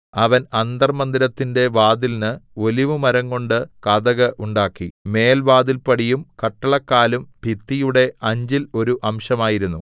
അവൻ അന്തർമ്മന്ദിരത്തിന്റെ വാതിലിന് ഒലിവുമരംകൊണ്ട് കതക് ഉണ്ടാക്കി മേൽവാതിൽപ്പടിയും കട്ടളക്കാലും ഭിത്തിയുടെ അഞ്ചിൽ ഒരു അംശമായിരുന്നു